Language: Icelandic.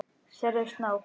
Sérðu snák?